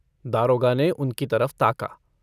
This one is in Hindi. दारोगा ने उनकी तरफ ताका।